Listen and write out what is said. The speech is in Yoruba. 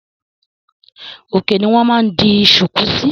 Òkè ni wọn máa ń di sùkú síí.